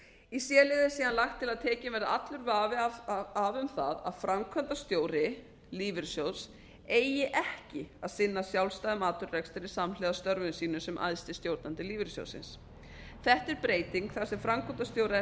í c lið er síðan lagt til að tekinn verði af allur vafi um það að framkvæmdastjóri lífeyrissjóðs eigi ekki að sinna sjálfstæðum atvinnurekstri samhliða störfum sínum sem æðsti stjórnandi lífeyrissjóðsins þetta er breyting þar sem framkvæmdastjóra er